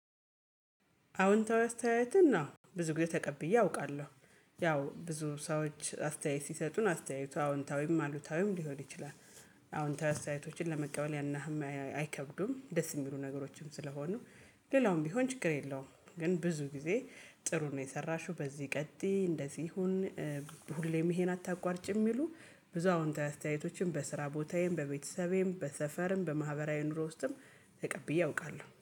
አዎንታዊ አስተያየትን አው ብዙ ጊዜ ተቀብዬ አውቃለሁ። ያው ብዙ ሰዎች አስተያየት ሲሰጡን አስተያየቱ አዎንታዊም አሉታዊም ሊሆን ይችላል። አዎንታዊ አስተያየቶችን ለመቀበል ያንያህል አይከብዱም ደስ የሚሉ ነገሮችም ስለሆኑ። ሌላውም ቢሆን ችግር የለውም። ግን ብዙ ጊዜ ጥሩ ነው የሰራሽው በዚህ ቀጥዪ እንደዚህ ይሁን። ሁሌም ይሄን አታቋርጭም ይሉ። ብዙ አዎንታዊ አስተያየቶችን በስራ ቦታዬም በቤተሰቤም በሰፈርም በማህበራዊ ኑሮ ውስጥም ተቀብዬ አውቃለሁ